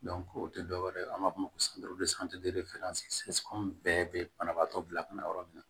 o tɛ dɔwɛrɛ ye an b'a fɔ o ma ko bɛɛ bɛ banabaatɔ bila ka na yɔrɔ min na